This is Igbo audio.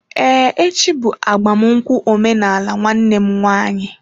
Ee, echi bụ agbamnụkwu omenaala nwanne m nwanyị.